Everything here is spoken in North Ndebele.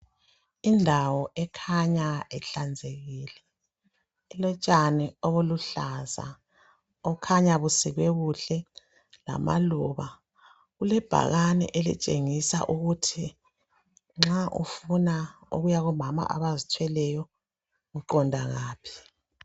Indawo ekhanya ihlanzekile ilotshani obuluhlaza obukhanya busikwe kuhle lamaluba. Kulebhakane elitshengisa ukuthi nxa ufuna ukuya kubomama abazithweleyo uqonda ngaphi.